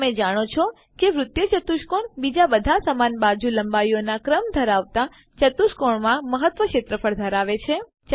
શું તમે જાણો છો કે વૃત્તીય ચતુષ્કોણ બીજા બધા સમાન બાજુ લંબાઈઓનાં ક્રમ ધરાવતા ચતુષ્કોણોમાં મહત્તમ ક્ષેત્રફળ ધરાવે છે